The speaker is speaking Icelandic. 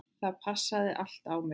Það passaði allt á mig.